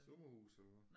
Sommerhus eller hvad